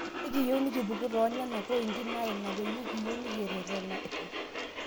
Ekiyieu nekipuku too nena pointi naa ina peyie kiyieu nekirerena pii